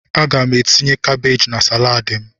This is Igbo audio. Aga m etinye kabaj na salaadi ahụ.